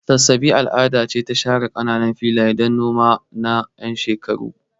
Sassabe al'ada ce ta share kananan filaye don noma na 'yan shekaru.